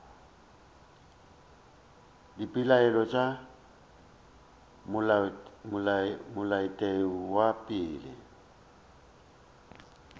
dipeelano tša molaotheo wa pele